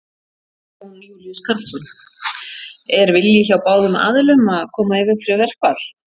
Jón Júlíus Karlsson: Er vilji hjá báðum aðilum að koma í veg fyrir verkfall?